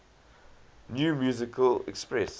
new musical express